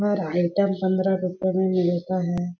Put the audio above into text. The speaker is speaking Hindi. हर आइटम पंद्रह रुपए में मिलता है।